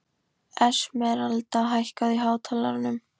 Esmeralda, hækkaðu í hátalaranum.